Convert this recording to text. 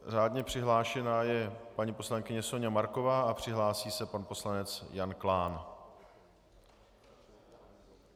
Řádně přihlášená je paní poslankyně Soňa Marková a připraví se pan poslanec Jan Klán.